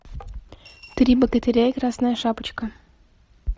три богатыря и красная шапочка